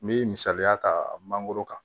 N bɛ misaliya ta mangoro kan